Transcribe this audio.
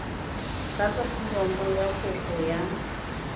tlatsa foromo ya kopo ya